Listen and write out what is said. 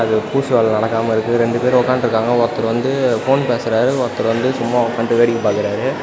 அது பூசு வேல நடக்காம இருக்கு ரெண்டு பேரு உட்கான்ட்ருக்காங்க ஒருத்தர் வந்து ஃபோன் பேசுறாரு ஒருத்தர் வந்து சும்மா உக்கான்டு வேடிக்க பாக்குறாரு.